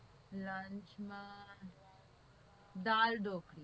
lunch માં દાળઢોકળી